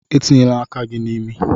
Etinyela aka gị n'imi!